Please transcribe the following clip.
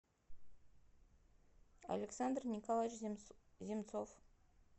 александр николаевич земцов